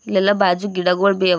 ಇಲ್ಲೆಲ್ಲ ಬಾಜು ಗಿಡಗೋಳ ಬಿ ಅವ.